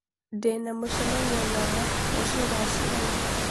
Ndĩ na mũcemanio na John rũciũ thaa cigana